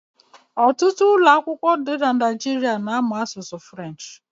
Ọtụtụ ụlọakwụkwọ na Naịjirịa na-amụ asụsụ French.